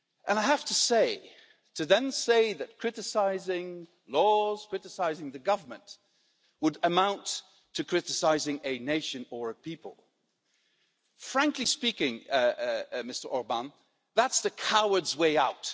I have to say to then say that criticising laws and criticising the Government would amount to criticising a nation or a people, frankly speaking, Mr Orbán, that's the coward's way out.